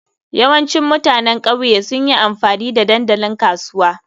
Yawancin mutanen ƙauye sun yi amfani da dandalin kasuwa.